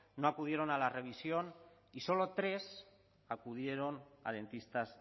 no acudieron a la revisión y solo tres acudieron a dentistas